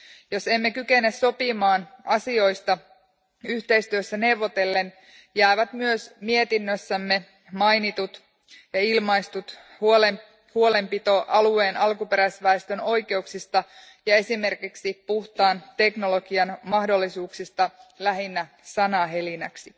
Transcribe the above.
Jos emme kykene sopimaan asioista yhteistyössä neuvotellen, jää myös mietinnössämme mainittu ja ilmaistu huolenpito alueen alkuperäisväestön oikeuksista ja esimerkiksi puhtaan teknologian mahdollisuuksista lähinnä sanahelinäksi.